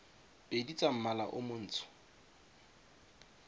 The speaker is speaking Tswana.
pedi tsa mmala o montsho